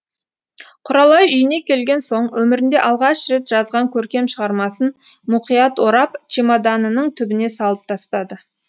құралай үйіне келген соң өмірінде алғаш рет жазған көркем шығармасын мұқият орап чемоданының түбіне салып тастады